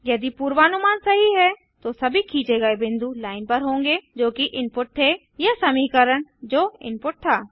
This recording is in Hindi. यदि पूर्वानुमान सही है तो सभी खींचे गये बिंदु लाइन पर होंगे जोकि इनपुट थे या समीकरण जो इनपुट था